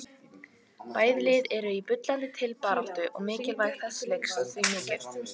Bæði lið eru í bullandi titilbaráttu og mikilvægi þessa leiks því mikið.